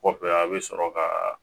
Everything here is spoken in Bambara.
Kɔfɛ a bɛ sɔrɔ ka